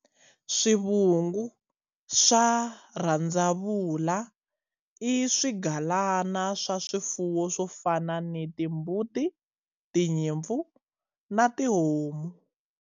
Swivungu swa rhandzavula i swigalana swa swifuwo swo fana na timbuti, tinyimpfu na tihomu.